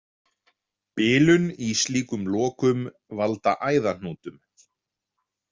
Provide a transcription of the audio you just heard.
Bilun í slíkum lokum valda æðahnútum.